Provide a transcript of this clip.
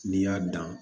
N'i y'a dan